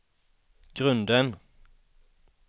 grunden